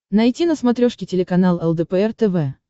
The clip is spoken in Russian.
найти на смотрешке телеканал лдпр тв